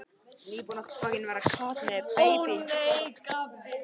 Ég hef enn ekki skrifað undir framlengingu á samningi mínum.